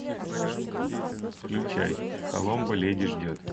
включай коломбо леди ждет